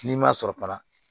N'i ma sɔrɔ fana